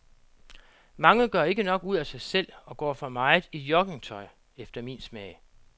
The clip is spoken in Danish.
Mange gør ikke nok ud af sig selv og går for meget i joggingtøj efter min smag.